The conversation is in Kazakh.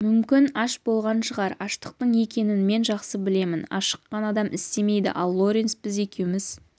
мүмкін аш болған шығар аштықтың екенін мен жақсы білемін ашыққан адам істемейді ал лоренс біз екеуміз